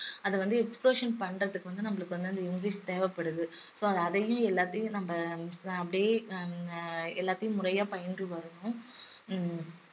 அத வந்து expression பண்றதுக்கு வந்து நம்மளுக்கு வந்து அந்த english தேவைப்படுது so அதையும் எல்லாத்தையும் நம்ப அப்படியே அஹ் எல்லாத்தையும் முறையா பயின்று வரணும் ஹம்